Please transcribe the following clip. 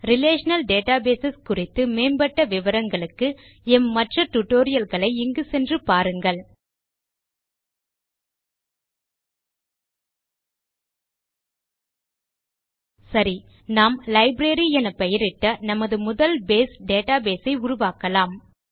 relational database குறித்து மேம்பட்ட விவரங்களுக்கு எம் மற்ற டியூட்டோரியல்ஸ் களை இங்கு சென்று பாருங்கள் httpspoken tutorialorg சரி நாம் லைப்ரரி என பெயரிட்ட நமது முதல் பேஸ் டேட்டாபேஸ் ஐ உருவாக்கலாம்